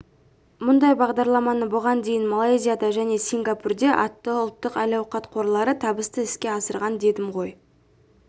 мұндай бағдарламаны бұған дейін малайзияда және сингапурде атты ұлттық әл-ауқат қорлары табысты іске асырған дедім ғой